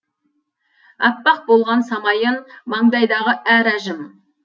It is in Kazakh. аппақ болған самайын мандайдағы әр әжім